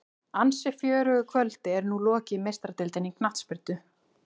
Ansi fjörugu kvöldi er nú lokið í Meistaradeildinni í knattspyrnu.